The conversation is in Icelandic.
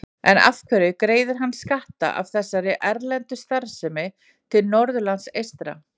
En af hverju greiðir hann skatta af þessari erlendu starfsemi til Norðurlands eystra?